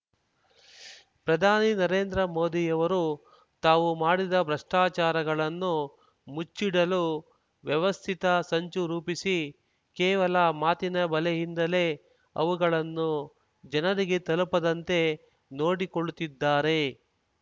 ಪ್ರಧಾನಿ ನರೇಂದ್ರ ಮೋದಿಯವರು ತಾವು ಮಾಡಿದ ಭ್ರಷ್ಟಾಚಾರಗಳನ್ನು ಮುಚ್ಚಿಡಲು ವ್ಯವಸ್ಥಿತ ಸಂಚು ರೂಪಿಸಿ ಕೇವಲ ಮಾತಿನ ಬಲೆಯಿಂದಲೇ ಅವುಗಳನ್ನು ಜನರಿಗೆ ತಲುಪದಂತೆ ನೋಡಿಕೊಳ್ಳುತ್ತಿದ್ದಾರೆ